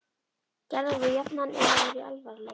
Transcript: Gerðar voru jafnan ef þær voru í alfaraleið.